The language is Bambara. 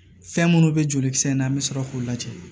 Fɛn minnu bɛ joli kisɛ in na an bɛ sɔrɔ k'u lajɛ